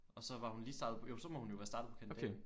Og så var hun lige startet på jo så må hun være startet på kandidaten